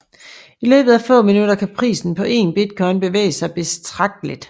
I løbet af få minutter kan prisen på én bitcoin bevæge sig betragteligt